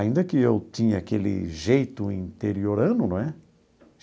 Ainda que eu tinha aquele jeito interiorano, não é?